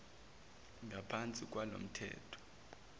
ngaphansi kwalo mthetho